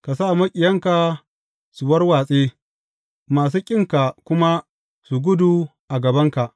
Ka sa maƙiyanka su warwatse; masu ƙinka kuma su gudu a gabanka.